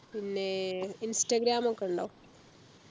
പിന്നെ ഇൻസ്റ്റാഗ്രാം ഒക്കെ ഉണ്ടോ